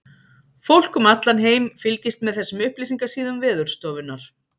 Fólk um allan heim fylgist með þessum upplýsingasíðum Veðurstofunnar.